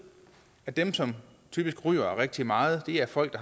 at dem som typisk ryger rigtig meget er folk